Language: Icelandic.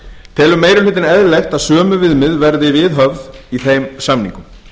telur meiri hlutinn eðlilegt að sömu viðmið verði viðhöfð í þeim samningum